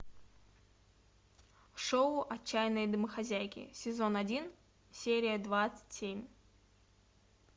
шоу отчаянные домохозяйки сезон один серия двадцать семь